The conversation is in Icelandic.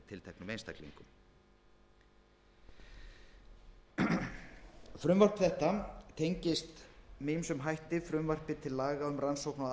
tilteknum einstaklingi frumvarp þetta tengist með ýmsum hætti frumvarpi til laga um rannsókn á